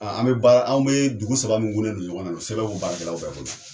A an be baara anw be dugu saba minnu gun ne do ɲɔgɔn na sɛbɛnw bu baara kɛlaw bɛɛ bolo